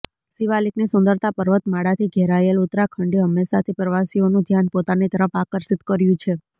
શિવાલિકની સુંદરતા પર્વતમાળાથી ઘેરાયેલ ઉત્તરાખંડે હંમેશાથી પ્રવાસીઓનું ધ્યાન પોતાની તરફ આકર્ષિત કર્યું છે